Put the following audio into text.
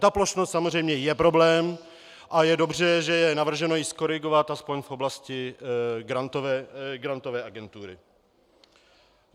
Ta plošnost samozřejmě je problém a je dobře, že je navrženo ji zkorigovat alespoň v oblasti Grantové agentury.